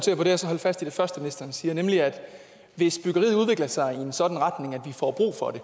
holde fast i det første ministeren siger nemlig at hvis byggeriet udvikler sig i en sådan retning at vi får brug for det